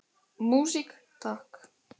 Músík, takk!